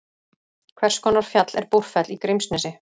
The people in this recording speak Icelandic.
hvers konar fjall er búrfell í grímsnesi